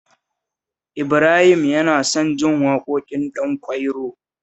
Ibrahim yana son jin waƙoƙin Ɗanƙwairo